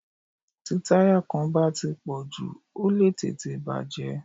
Tí táyà kan bá ti pọ̀ jù, ó lè tètè bà jẹ́.